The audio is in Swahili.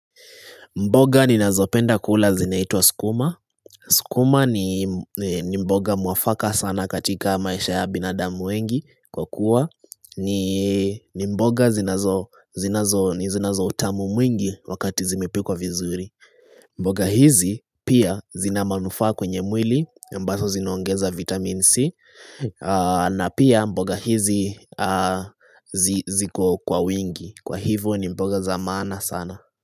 Mboga ni nazo penda kula zinaitwa skuma. Skuma ni mboga muafaka sana katika maisha ya binadamu wengi kwa kuwa. Ni mboga zinazo utamu mwingi wakati zimepikwa vizuri. Mboga hizi pia zinamanufaa kwenye mwili ambaso zinaongeza vitamin C. Na pia mboga hizi ziko kwa wingi. Kwa hivo ni mboga zamaana sana.